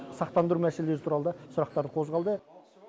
сақтандыру мәселелері туралы да сұрақтар қозғалды